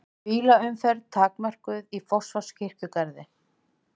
Bílaumferð takmörkuð í Fossvogskirkjugarði